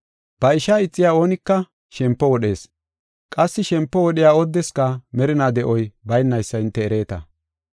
Ba ishaa ixiya oonika shempo wodhees. Qassi shempo wodhiya oodeska merinaa de7oy baynaysa hinte ereeta.